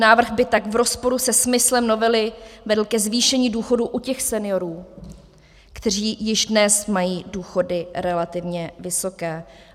Návrh by tak v rozporu se smyslem novely vedl ke zvýšení důchodu u těch seniorů, kteří již dnes mají důchody relativně vysoké.